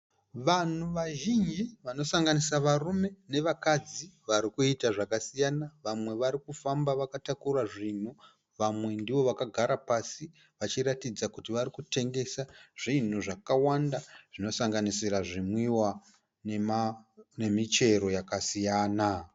Vanhu vazhinji vanosanganisira varume nevakadzi varikuita zvakasiyana. Vamwe varikufamba vakatakura zvinhu. Vamwe ndovakagara pasi vachiratidza kuti varikutengesa zvinhu zvakawanda zvinosanganisira zvimwiwa nemichero yakasiyana.